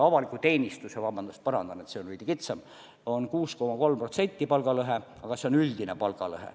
Avaliku teenistuse palgalõhe on 6,3%, aga see on üldine palgalõhe.